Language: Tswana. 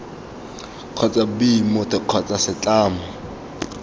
kgotsa b motho kgotsa setlamo